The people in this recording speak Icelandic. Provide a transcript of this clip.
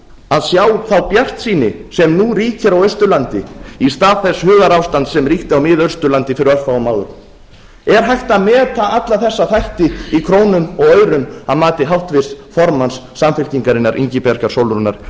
að sjá þá bjartsýni sem nú ríkir á austurlandi í stað þess hugarástands sem ríkti á miðausturlandi fyrir örfáum árum er hægt að meta alla þessa þætti í krónum og aurum að mati háttvirts formanns samfylkingarinnar ingibjargar sólrúnar